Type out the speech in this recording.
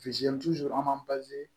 an m'an